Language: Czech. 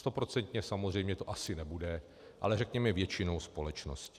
Stoprocentně samozřejmě to asi nebude, ale řekněme většinou společnosti.